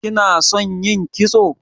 Kina son yin kitso?